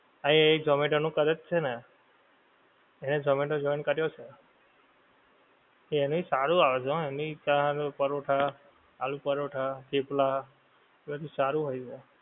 એ zomato નું કરે જ છે ને એને zomato join કર્યું છે એનેય સારું આવે છે એની ચા પરોઠા આલુ પરોઠા થેપલા એ બધુ સારું હોય છે.